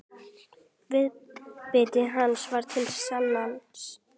Viðbiti hann var til sanns.